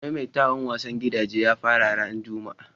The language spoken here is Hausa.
Maimaitawan wasan gidaje ya fara ran Juma'a.